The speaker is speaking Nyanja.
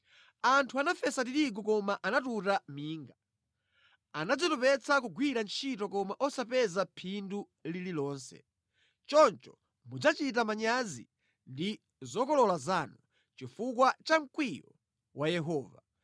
Anthu anafesa tirigu koma anatuta minga; anadzitopetsa kugwira ntchito koma osapeza phindu lililonse. Choncho mudzachita manyazi ndi zokolola zanu chifukwa cha mkwiyo wa Yehova.”